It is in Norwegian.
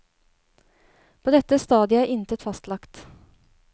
På dette stadiet er intet fastlagt.